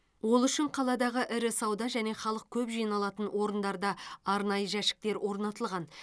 ол үшін қаладағы ірі сауда және халық көп жиналатын орындарда арнайы жәшіктер орнатылған